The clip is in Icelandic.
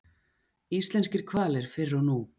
Íslenskir hvalir fyrr og nú.